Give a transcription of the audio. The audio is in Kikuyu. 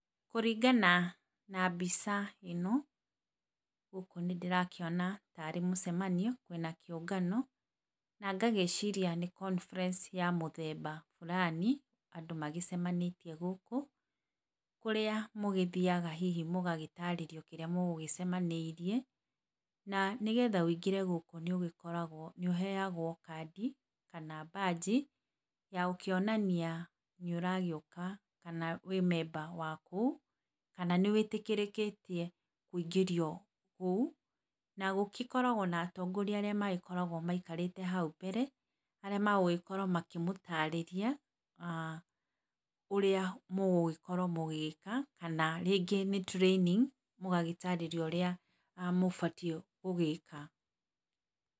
Kũringana na mbica ĩno gũkũ nĩ ndĩrakĩona tarĩ mũcemanio kwĩna kĩũngano na ngagĩciria nĩ conference ya mũthemba burani andũ magĩcemanĩtiĩ gũkũ, kũrĩa mũgĩthiaga hihi mũgagĩtarĩrio kĩria mũgũgĩcemanĩirie, na nĩgetha wĩingĩre gũkũ nĩũgĩkoragwo, nĩũheagwo kandi, kana mbanji yagũkĩonania nĩ ũragĩũka kana wĩ memba wa kũu, kana nĩwĩtĩkĩrĩtio kũingĩrio kũu na gũgĩkoragwo na atongoria magĩkoragwo maikarĩte hau mbere. Arĩa magũgĩkorwo makĩmũtarĩria aah ũrĩa mũgũgĩkorwo mũgĩka kana rĩngĩ nĩ training mũgagĩtarĩrio ũrĩa mũbatiĩ gũgĩka.